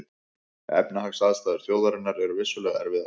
Efnahagsaðstæður þjóðarinnar eru vissulega erfiðar